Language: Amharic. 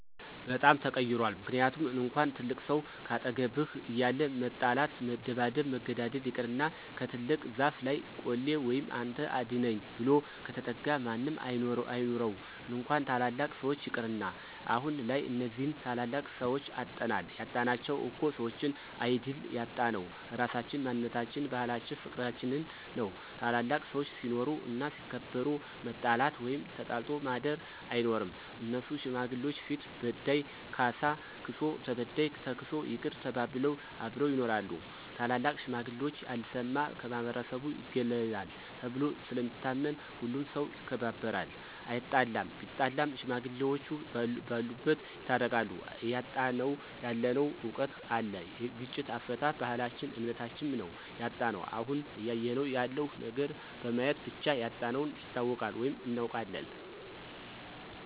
በጣም ተቀይሯል ምክንያቱም እንኳን ትልቅ ሰው ካጠገብህ እያለ መጣላት መደባደብ መገዳደል ይቅርና ከትልቅ ዛፍ ለይ ቆሌ ወይም አንተ አድነኝ ብሎ ከተጠጋ ማንም አይኑረው እንኳን ታላላቅ ሰዎች ይቅርና። አሁንላይ እነዚህን ታላላቅ ሰዎች አጠናል ያጣናቸው እኮ ሰዎችን አይድል ያጣነው ራሳችን፣ ማንነታችን፣ ባህላችን ፍቅርችንን ነው። ታላላቅ ሰዎች ሲኖሩ እና ሲከበሩ መጣላት ወይም ተጣልቶ ማድር አይኖርም እነሱ ሽማግሌዎች ፊት በዳይ ካሳ ክሶ ተበዳይ ተክሶ ይቅር ተባብለው አብረው ይኖራሉ። ታላላቅ ሽማግሌዎች ያልሰማ ከማህበረሰቡ ይገለላል ተብሎ ስለሚታመን ሁሉም ሠው ይከባበራል አይጣለም ቢጣላም ሽማግሌዎቹ በሉበት ይታረቃሉ። እያጣነው ያለነው እውቀት አለ የግጭት አፈታት፣ ባህልች እምነታችም ነው ያጣነው። አሁን እያየነው ያለው ነገር በማየት ብቻ ያጣነውን ይታወቃል ወይም እናውቃለን።